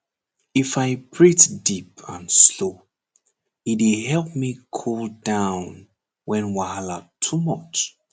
if i breathe deep and slow e dey help me cool down when wahala too much